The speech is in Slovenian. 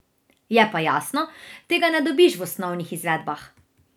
Je pa jasno, tega ne dobiš v osnovnih izvedbah!